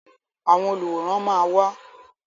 Àwọn olùwòran máa wá.